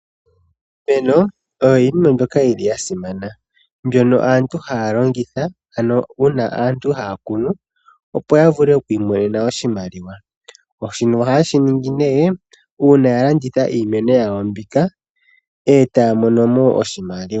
Iimeno oyo iinima yimwe mbyoka yili ya simana mbyono aantu haya longitha ano uuna aantu haya kunu opo ya vule oku imonena oshimaliwa. Shino ohaye shiningi nee uuna ya landitha iimeno yawo mbika etaya mono mo oshimaliwa.